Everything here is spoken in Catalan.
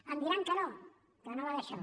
em diran que no que no va d’això